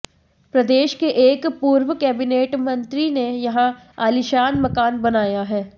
प्रदेश के एक पूर्व कैबिनेट मंत्री ने यहां आलीशान मकान बनाया है